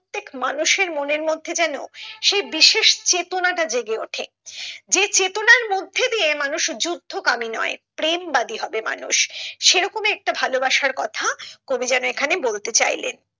প্রত্যেক মানুষের মনের মধ্যে যেন সেই বিশেষ চেতনাটা জেগে ওঠে যে চেতনার মধ্যে দিয়ে মানুষ যুদ্ধ কামি নয় প্রেম বাদী হবে মানুষ সেরকমই একটা ভালোবাসার কথা কবি যেন এখানে বলতে চাইলেন।